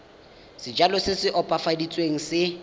sejalo se se opafaditsweng se